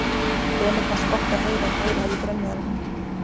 Emil fannst gott að heyra að fleiri hefðu grenjað en hann.